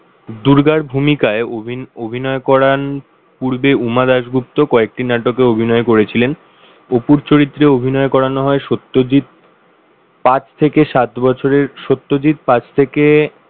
দুর্গার ভূমিকায় অভিনয় করান পূর্বে উমা দাশগুপ্ত কয়েকটি নাটকে অভিনয় করেছিলেন। অপুর চরিত্রে অভিনয় করানো হয় সত্যজিৎ পাঁচ থেকে সাত বছরের সত্যজিৎ পাঁচ থেকে,